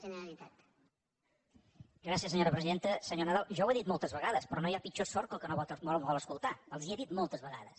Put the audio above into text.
senyor nadal jo ho he dit moltes vegades però no hi ha pitjor sord que el que no vol escoltar els ho he dit moltes vegades